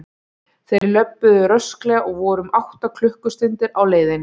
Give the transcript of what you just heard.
Þeir löbbuðu rösklega og voru um átta klukkustundir á leiðinni.